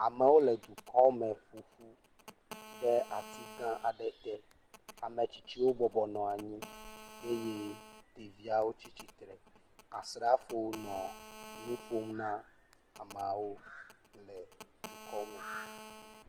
Amewo le dukɔ me ƒoƒu ɖe ati gã aɖe te, ame tsitsiwo bɔbɔ nɔ anyi eye ɖeviawo tsi tsitre, asrafo nɔ nu ƒom na amawo le dukɔ me.